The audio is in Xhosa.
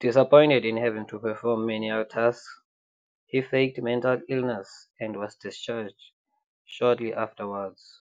Disappointed in having to perform menial tasks, he faked mental illness and was discharged shortly afterwards.